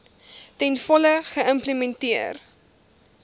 ten volle geïmplementeer